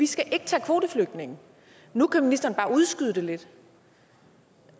skal tage kvoteflygtninge nu kan ministeren bare udskyde det lidt